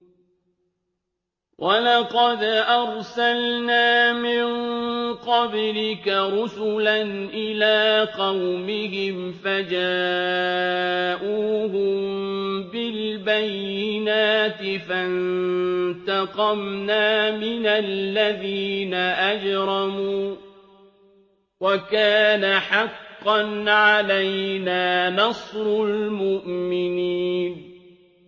وَلَقَدْ أَرْسَلْنَا مِن قَبْلِكَ رُسُلًا إِلَىٰ قَوْمِهِمْ فَجَاءُوهُم بِالْبَيِّنَاتِ فَانتَقَمْنَا مِنَ الَّذِينَ أَجْرَمُوا ۖ وَكَانَ حَقًّا عَلَيْنَا نَصْرُ الْمُؤْمِنِينَ